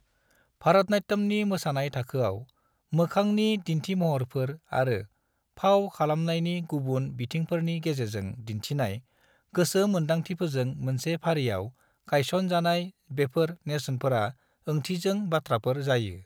भारतनाट्यमनि मोसानाय थाखोआव, मोखांनि दिन्थिमहरफोर आरो फाव खालामनायनि गुबुन बिथिंफोरनि गेजेरजों दिन्थिनाय गोसो मोन्दांथिफोरजों मोनसे फारियाव गायसन जानाय बेफोर नेरसोनफोरा ओंथिजों बाथ्राफोर जायो।